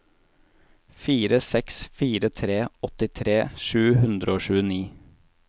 fire seks fire tre åttitre sju hundre og tjueni